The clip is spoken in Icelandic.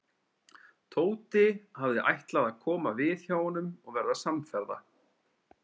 Tóti hafði ætlað að koma við hjá honum og verða samferða.